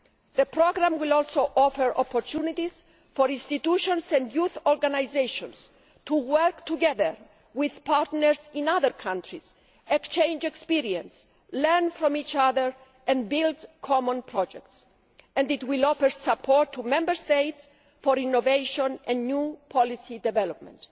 The programme will also offer opportunities for institutions and youth organisations to work together with partners in other countries, exchange experience, learn from each other and build common projects, and it will offer support to Member States for innovation and new policy development.